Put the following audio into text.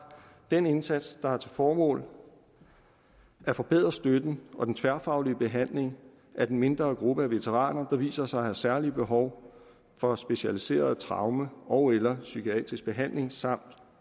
den indsats der har til formål at forbedre støtten og den tværfaglige behandling af den mindre gruppe af veteraner der viser sig at have særlige behov for specialiseret traume ogeller psykiatrisk behandling samt